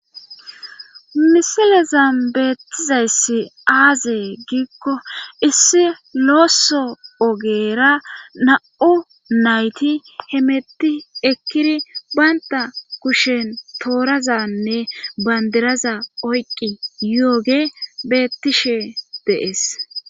misilezan beettizayssi aazee giikko issi looso ogera na7u nayti hemetti ekkiri baynta kushen toorazanne bandiraza oyqqi yooge bettishe deees